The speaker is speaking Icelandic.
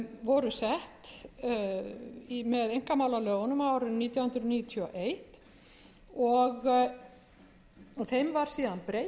voru sett með einkamálalögunum á árinu nítján hundruð níutíu og eins og þeim var síðan breytt